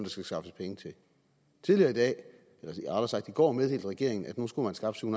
skal skaffes penge til tidligere i dag rettere sagt i går meddelte regeringen at nu skulle man skaffe syv